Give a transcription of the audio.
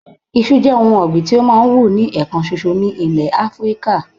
Isu je oun ogbin ti o ma n wu ni ekan soso ni ilé afrika